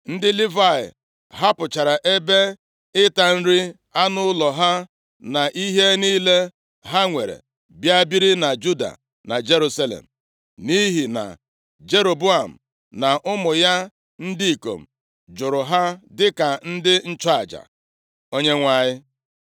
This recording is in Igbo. Ndị Livayị hapụchara ebe ịta nri anụ ụlọ ha na ihe niile ha nwere bịa biri na Juda na Jerusalem, nʼihi na Jeroboam na ụmụ ya ndị ikom jụrụ ha dịka ndị nchụaja Onyenwe anyị.